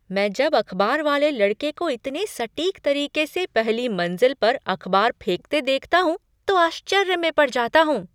मैं जब अखबार वाले लड़के को इतने सटीक तरीके से पहली मंजिल पर अखबार फेंकते देखता हूँ तो आश्चर्य में पड़ जाता हूँ।